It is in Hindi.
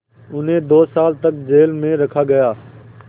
उन्हें दो साल तक जेल में रखा गया